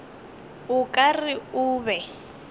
o ka re o be